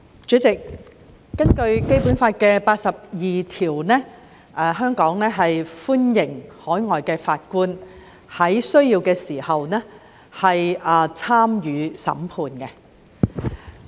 主席，根據《基本法》第八十二條，香港歡迎海外法官在有需要時參加審判。